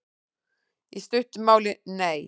Í stuttu máli: Nei.